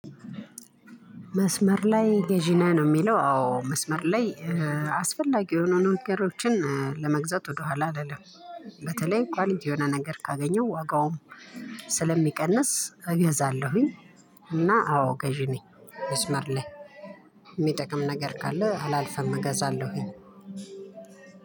መስመር ላይ ገዢ ነህ ነው የሚለው አዎ መስመር ላይ አስፈላጊ የሆኑ ነገሮችን ለመግዛት ወደ ኋላ አልልም። በተለይ ኳሊቲ የሆነ ነገር ካገኘሁ ዋጋውም ስለሚቀንስ እገዛለሁኝ። እና አዎ ገዢ ነኝ መስመር ላይ የሚጠቅም ነገር ካለ አላልፍም እገዛለሁኝ።